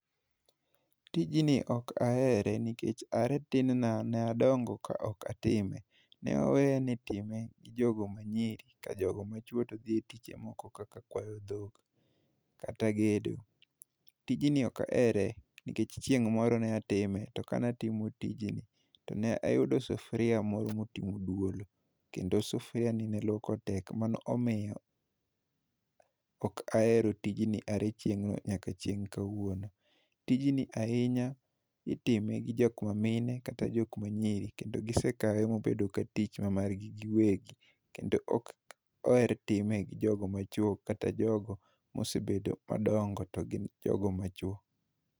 Tij ni ok ahere nikech a re tin na ne adongo ka ok a time ne aweyo ni itime gi jogo ma nyiri ka jogo ma chuo to dhi e tije ma moko kaka kwayo dhok kata gedo tijni ok ahere nikech chieng moro ne a time to kane a timo tijno ne ayudo sufria moro ma otimo duolo kendo sufria ne tek lwoko mane omiyo ok ahero tijni a re chiengno nyaka ka wuono tijni ahinya itime gi jok ma mine kata jok ma nyiri kendo gi sekawe ma obedo ka tich ma mar gi wegi kendo ok oher time gi jok ma chuo to gi jo go ma osebedo madongo to gin jogo ma chwo